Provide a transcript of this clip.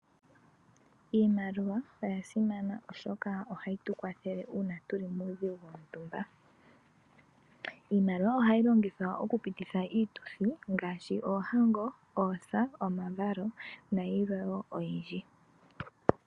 Iimaliwa oyasimana oshoka ohayitukwathele uuna tuli muudhigu wontumba iimaliwa ohayi longithwa okupititha iituthi ngaashi oohango oosa nomavalo nalwe oyindji.